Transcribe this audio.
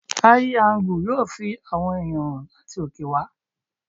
Áí angú yóò fi àwọn ẹ̀yàn hàn láti òkè wá.